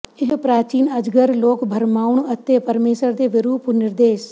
ਇਹ ਪ੍ਰਾਚੀਨ ਅਜਗਰ ਲੋਕ ਭਰਮਾਉਣ ਅਤੇ ਪਰਮੇਸ਼ੁਰ ਦੇ ਵਿਰੁੱਧ ਨਿਰਦੇਸ਼